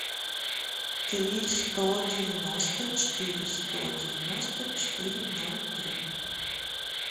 три сто девяносто четыре сто девяносто четыре ноль три